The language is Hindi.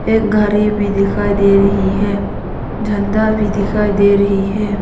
एक घरी भी दिखाई दे रही है झंडा भी दिखाई दे रही है।